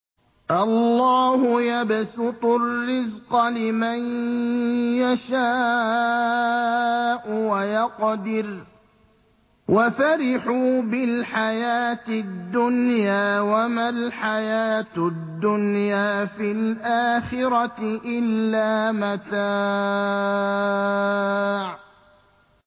اللَّهُ يَبْسُطُ الرِّزْقَ لِمَن يَشَاءُ وَيَقْدِرُ ۚ وَفَرِحُوا بِالْحَيَاةِ الدُّنْيَا وَمَا الْحَيَاةُ الدُّنْيَا فِي الْآخِرَةِ إِلَّا مَتَاعٌ